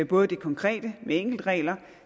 både det konkrete med enkeltregler